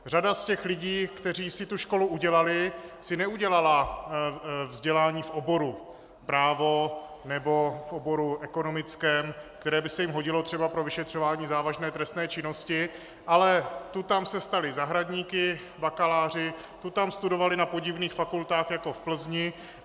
Řada z těch lidí, kteří si tu školu udělali, si neudělala vzdělání v oboru právo nebo v oboru ekonomickém, které by se jim hodilo třeba pro vyšetřování závažné trestné činnosti, ale tu tam se stali zahradníky, bakaláři, tu tam studovali na podivných fakultách jako v Plzni.